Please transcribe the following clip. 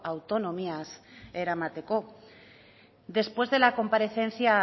autonomiaz eramateko después de la comparecencia